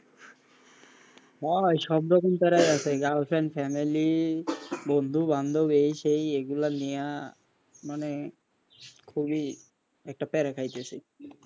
ভাই সব রকম প্যারায় girlfriend family বন্ধু বান্ধব এই সেই এইগুলা নিয়া মানে খুব ই একটা প্যারা খাইতেছি।